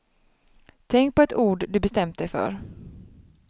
Tänk på ett ord du bestämt dig för.